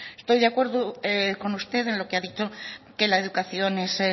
estoy de acuerdo con usted en lo que ha dicho que la educación